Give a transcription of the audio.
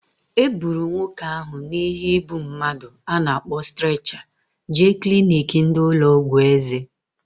E buru nwoke ahu na ihe ịbụ mmadụ a na-akpọ streecha jee kliniki ndị ụlọ ọgwụ eze